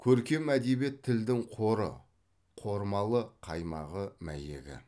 көркем әдебиет тілдің қоры қормалы қаймағы мәйегі